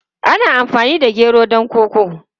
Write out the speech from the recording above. Ana amfani da gero don koko.